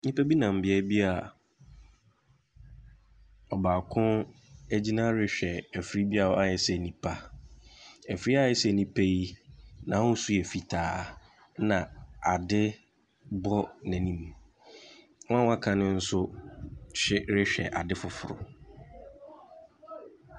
Nnipa bi nam baabi a ɔbaako agyina rehwɛ afiri a wayɛ sɛ nipa. Afiri a ayɛ sɛ nipa yi, n'ahosu yɛ fitaa, na ade bɔ n'anum. Wɔan a wɔaka no nso hw rehwɛ ade foforɔ.